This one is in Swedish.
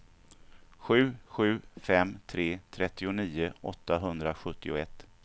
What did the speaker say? sju sju fem tre trettionio åttahundrasjuttioett